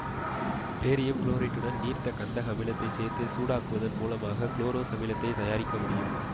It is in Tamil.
பேரியம் குளோரைட்டுடன் நீர்த்த கந்தக அமிலத்தை சேர்த்து சூடாக்குவதன் மூலமாக குளோரசமிலத்தை தயாரிக்கமுடியும்